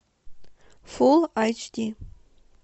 фулл айч ди